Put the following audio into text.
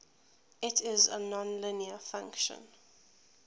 it is a nonlinear function